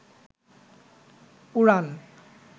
পুরাণ